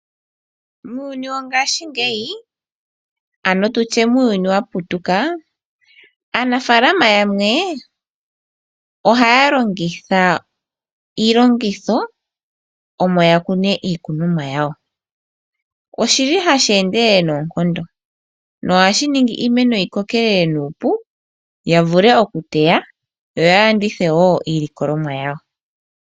Muuyuni wongashingeyi ano tutye muuyuni wa putuka Aanafaalama yamwe ohaya longitha iilongitho omo yakune iikunomwa yawo. Oshili hashi endelele noonkondo nohashi ningi iimeno yi kokelele nuupu ya vule okuteya yo ya landitha